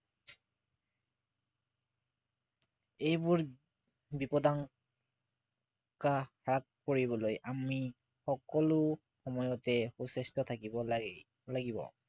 এইবোৰ বিপদা শংকা হ্ৰাস কৰিবলৈ আমি সকলো সময়তে সুস্বাস্থ্য় থাকিব লাগে লাগিব